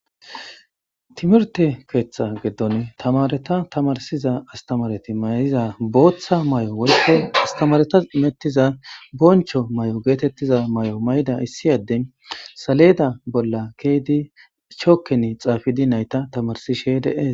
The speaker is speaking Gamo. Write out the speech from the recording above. Timirte keeththa giddon tamaareta tamarsiza astamaareti mayiza booththa mayo woykko astamaaretas imetiza bonchcho mayo geetettida mayo mayida issi addey saleeda bolla ke'idi chokken xaafidi nayta tamarsishe de'es.